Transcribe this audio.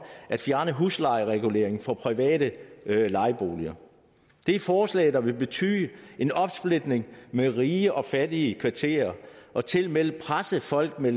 at fjerne huslejereguleringen for private lejeboliger det er forslag der vil betyde en opsplitning mellem rige og fattige kvarterer og tilmed presse folk med